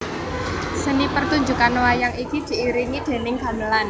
Seni pertunjukan wayang iki diiringi déning gamelan